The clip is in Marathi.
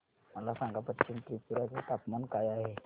मला सांगा पश्चिम त्रिपुरा चे तापमान काय आहे